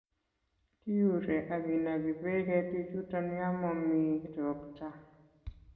Kiure ak kinoki beek ketichuton yon momi ropta